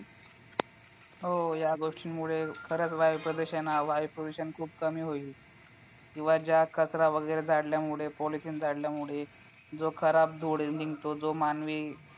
हो या गोष्टींमुळे वायु प्रदूषणावर वायू प्रदूषण खूप कमी होईल किंवा ज्या कचरा वगैरे जाळल्यामुळे polythene जाळल्यामुळे जो खराब धूर निघतो जो मानवी